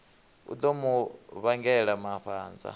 u ḓo mu vhangela mafhanza